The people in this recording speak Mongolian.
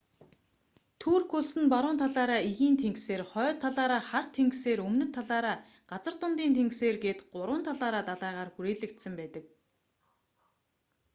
турк улс нь баруун талаараа эгийн тэнгисээр хойд талаараа хар тэнгисээр өмнөд талаараа газар дундын тэнгисээр гээд гурван талаараа далайгаар хүрээлэгдсэн байдаг